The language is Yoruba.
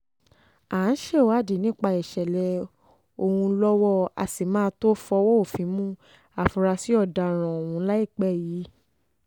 um à ń ṣèwádìí nípa ìṣẹ̀lẹ̀ ọ̀hún lọ́wọ́ á sì máa tóó fọwọ́ òfin mú àfúrásì ọ̀daràn um ọ̀hún láìpẹ́ yìí